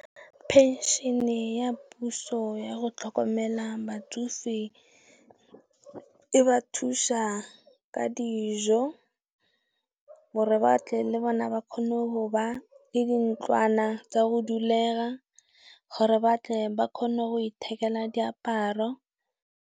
Phenšhene ya puso yago tlhokomela batsofe e ba thusa ka dijo, gore batle le bona ba kgone go ba le dintlwana tsa go dulega, gore batle ba kgone go ithekela diaparo.